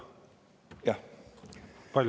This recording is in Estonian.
Minut?